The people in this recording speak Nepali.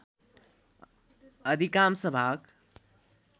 अधिकांश भाग